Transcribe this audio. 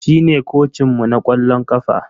Shine kocinmu na kwallon kafa.